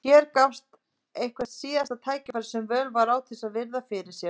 Hér gafst eitthvert síðasta tækifæri sem völ var á til að virða fyrir sér